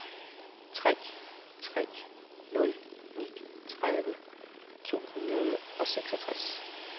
tre tre nul ni tredive to hundrede og seksogtres